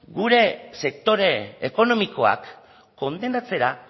gure sektore ekonomikoak kondenatzera